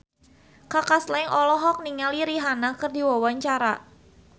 Kaka Slank olohok ningali Rihanna keur diwawancara